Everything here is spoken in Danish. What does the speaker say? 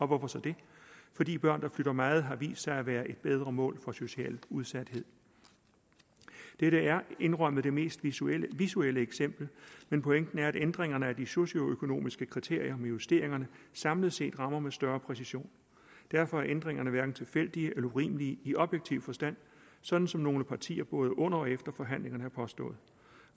hvorfor så det fordi børn der flytter meget har vist sig at være et bedre mål for socialt udsathed dette er indrømmet det mest visuelle visuelle eksempel men pointen er at ændringerne af de socioøkonomiske kriterier med justeringerne samlet set rammer med større præcision derfor er ændringerne hverken tilfældige eller urimelige i objektiv forstand sådan som nogle partier både under og efter forhandlingerne har påstået